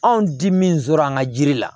Anw di min sɔrɔ an ka jiri la